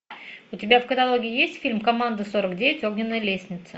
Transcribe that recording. у тебя в каталоге есть фильм команда сорок девять огненная лестница